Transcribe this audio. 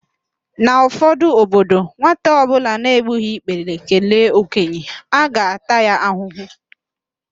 N'ụfọdụ obodo, nwata ọbụla na-egbughi ikpere kelee okenye, a ga-ata ya ahụhụ